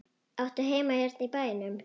Áttu heima hérna í bænum?